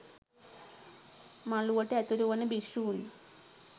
මළුවට ඇතුලු වන භික්ෂූන්